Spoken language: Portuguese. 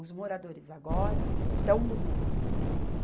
Os moradores agora estão do meu lado.